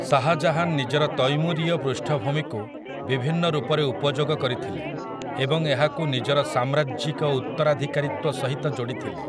ଶାହାଜାହାନ୍ ନିଜର ତୈମୁରୀୟ ପୃଷ୍ଠଭୂମିକୁ ବିଭିନ୍ନ ରୂପରେ ଉପଯୋଗ କରିଥିଲେ ଏବଂ ଏହାକୁ ନିଜର ସାମ୍ରାଜ୍ୟିକ ଉତ୍ତରାଧିକାରୀତ୍ୱ ସହିତ ଯୋଡ଼ିଥିଲେ ।